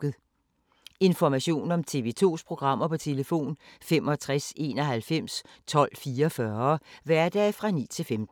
Information om TV 2's programmer: 65 91 12 44, hverdage 9-15.